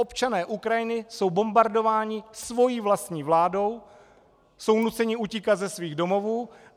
Občané Ukrajiny jsou bombardováni svojí vlastní vládou, jsou nuceni utíkat ze svých domovů.